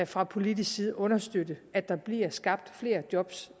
fra politisk side understøtte at der bliver skabt flere job